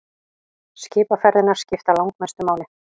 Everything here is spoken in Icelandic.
Skipaferðirnar skipta langmestu máli.